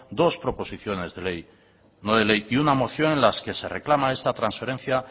dos proposiciones de no de ley y una moción en las que se reclama esta transferencia